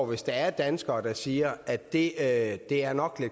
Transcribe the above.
hvis der er danskere der siger at det at det her nok